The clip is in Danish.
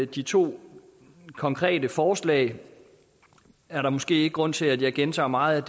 de to konkrete forslag er der måske ikke grund til at gentage meget